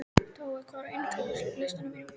Tói, hvað er á innkaupalistanum mínum?